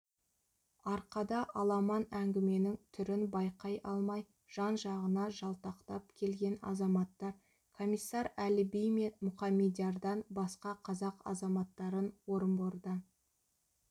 арқада аламан әңгіменің түрін байқай алмай жан-жағына жалтақтап келген азаматтар комиссар әліби мен мұқаммедиярдан басқа қазақ азаматтарын орынбордан